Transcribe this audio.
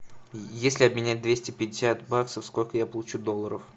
если обменять двести пятьдесят баксов сколько я получу долларов